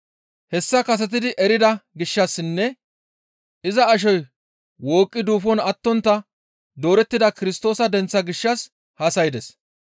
Hessa kasetidi erida gishshassinne iza ashoy wooqqi duufon attontta doorettida Kirstoosa denththa gishshas haasaydes.